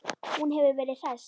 Hún hefur verið hress?